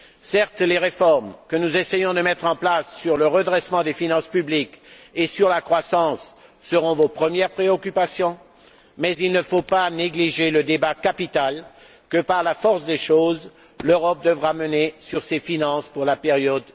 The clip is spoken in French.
Certes, les réformes que nous essayons de mettre en place sur le redressement des finances publiques et sur la croissance seront vos premières préoccupations, mais il ne faut pas négliger le débat capital que, par la force des choses, l'Europe devra mener sur ses finances pour la période